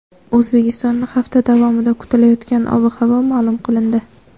O‘zbekistonda hafta davomida kutilayotgan ob-havo ma’lum qilindi.